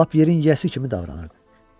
Lap yerin yiyəsi kimi davranırdı.